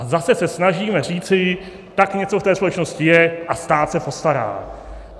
A zase se snažíme říci, tak něco v té společnosti je a stát se postará.